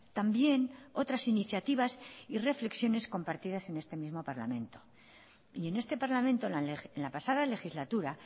también otras iniciativas y reflexiones compartidas en este mismo parlamento y en este parlamento en la pasada legislatura